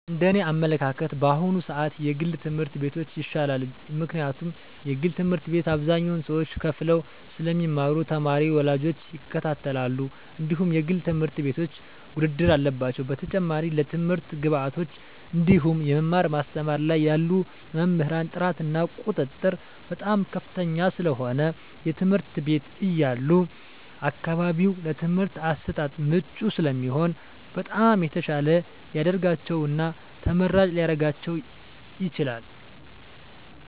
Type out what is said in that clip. እንደ እኔ አመለካከት በአሁኑ ስዓት የግል ትምህርት ቤቶች ይሻላል ምክንያቱም የግል ትምህርት ቤት አብዛኞቹ ሰዎች ከፈለው ስለሚማሩ ተማሪ ወላጆች ይከታተላሉ እንድሁም የግል ትምህርት ቤቶች ውድድር አለባቸው በተጨማሪም ለትምህርት ግብዓቶች እንድሁም የመማር ማስተማር ላይ ያሉ መምህራን ጥራት እና ቁጥጥር በጣም ከፍተኛ ስለሆነ የትምህርት ቤት ያሉ አካባቢው ለትምህርት አሰጣጥ ምቹ ስለሚሆኑ በጣም የተሻለ ሊደርጋቸው እና ተመራጭ ሊረጋቸው ይችላል።